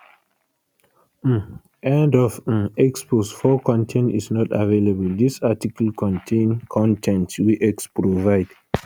um end of um x post 4 con ten t is not available dis article contain con ten t wey x provide